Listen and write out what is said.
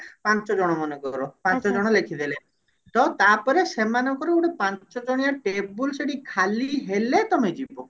ପାଞ୍ଚ ଜଣ ମନେକର ପାଞ୍ଚ ଜଣ ଲେଖିଦେଲେ ତ ତାପରେ ସେମାନଙ୍କର ଗୋଟେ ପାଞ୍ଚଜଣିଆ table ସେଠି ଖାଲି ହେଲେ ତମେ ଯିବ